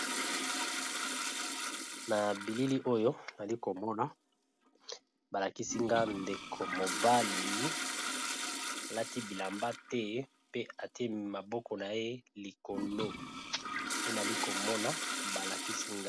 Na bilili oyo nali komona balakisinga ndeko mobali alati bilamba te pe atie maboko na ye likolo pe nali komona balakisinga.